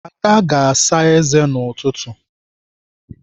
Ada ga-asa ézé n'ụtụtụ.